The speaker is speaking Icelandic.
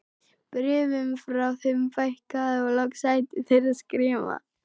Bréfum frá þeim fækkaði og loks hættu þeir að skrifa.